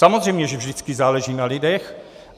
Samozřejmě že vždycky záleží na lidech.